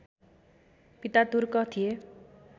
पिता तुर्क थिए